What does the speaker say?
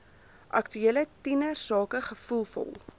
aktuele tienersake gevoelvol